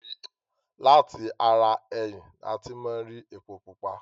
Lati ara ẹyìn ní a ti máa ń ri epo pupa.